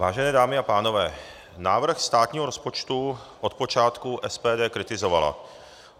Vážené dámy a pánové, návrh státního rozpočtu od počátku SPD kritizovala.